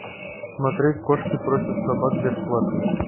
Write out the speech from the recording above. смотреть кошки против собак бесплатно